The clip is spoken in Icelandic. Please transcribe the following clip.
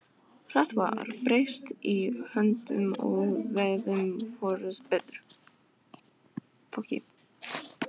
Hart var barist í öndverðu, og veitti hvorugum betur.